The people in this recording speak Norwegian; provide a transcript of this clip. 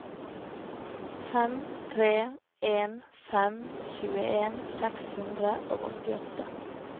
fem tre en fem tjueen seks hundre og åttiåtte